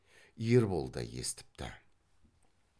ербол да естіпті